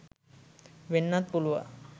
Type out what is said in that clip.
වෙන්නත් පුළුවන්.